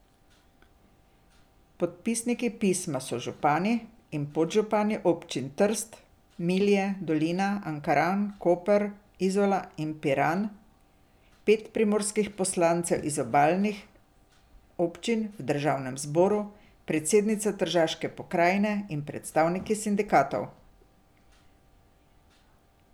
Podpisniki pisma so župani in podžupani občin Trst, Milje, Dolina, Ankaran, Koper, Izola in Piran, pet primorskih poslancev iz obalnih občin v državnem zboru, predsednica tržaške pokrajine in predstavniki sindikatov.